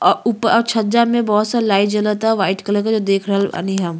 अ ऊपर छजा में बहुत सा लाइट जलता वाइट कलर के जो देख रहल बानी हम।